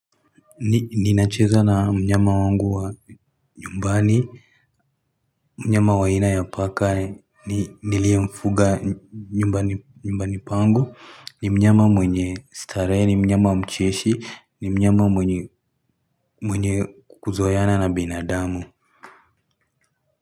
Ninacheza na mnyama wangu wa nyumbani Mnyama wa aina ya paka niliyemfuga nyumbani pangu ni mnyama mwenye starehe ni mnyama mcheshi ni mnyama mwenye kukuzoeana na binadamu.